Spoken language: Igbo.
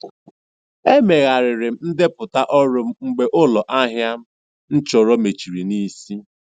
Emegharịrị m ndepụta ọrụ m mgbe ụlọ ahịa m chọrọ mechiri n'isi.